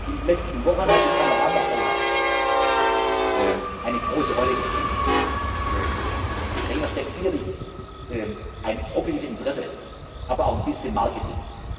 In den letzten Wochen hat die Panoramafreiheit eine große Rolle gespielt. Dahinter steckt sicherlich ein objektives Interesse, aber auch ein bisschen Marketing.